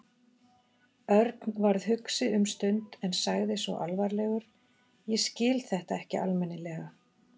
Örn varð hugsi um stund en sagði svo alvarlegur: Ég skil þetta ekki almennilega.